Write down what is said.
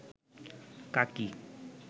কাকি